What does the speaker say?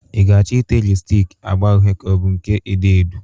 I ga-achọ ite lipstik agba uhe ka ọ bụ nke odo odo?